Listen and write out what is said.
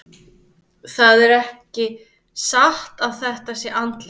Það er ekki satt að þetta sé andlegt.